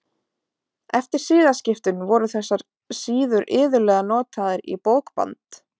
Eftir siðaskiptin voru þessar síður iðulega notaðar í bókband.